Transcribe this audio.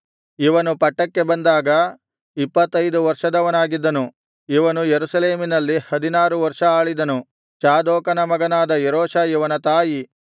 ಇವನು ಪಟ್ಟಕ್ಕೆ ಬಂದಾಗ ಇಪ್ಪತ್ತೈದು ವರ್ಷದವನಾಗಿದ್ದನು ಇವನು ಯೆರೂಸಲೇಮಿನಲ್ಲಿ ಹದಿನಾರು ವರ್ಷ ಆಳಿದನು ಚಾದೋಕನ ಮಗಳಾದ ಯೆರೂಷಾ ಇವನ ತಾಯಿ